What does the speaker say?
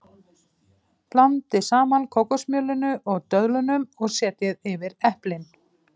Blandið saman kókosmjölinu og döðlunum og setjið yfir eplin.